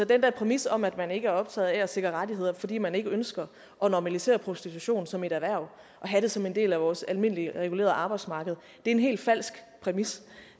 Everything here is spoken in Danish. den der præmis om at man ikke er optaget af at sikre rettigheder fordi man ikke ønsker at normalisere prostitution som et erhverv at have det som en del af vores almindelige regulerede arbejdsmarked er en helt falsk præmis